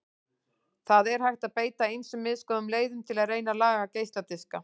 Það er hægt að beita ýmsum misgóðum leiðum til að reyna að laga geisladiska.